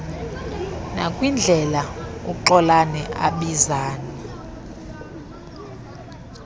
nakwindlela uxolani abizana